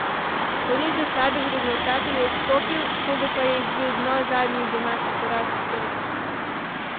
Po nizu slabih rezultatov je odstopil, sodu pa je izbil dno zadnji domači poraz s Krko.